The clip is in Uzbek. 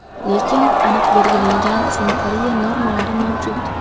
Lekin aniq belgilangan sanitariya normalari mavjud.